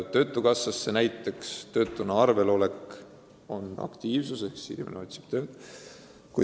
Töötukassas töötuna arvel olek tähendab aktiivsust – inimene otsib tööd.